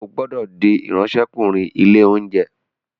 O gbódò dì Ìráńṣẹ́kùnrin ilé-oúnjẹ!